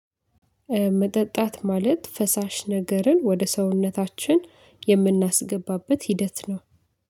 መጠጣት ማለት ፈሳሽ ነገርን ወደ ሰውነታችን የምናስገባበት ሂደት ነው።